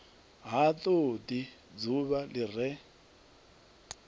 ha todi dzuvha li re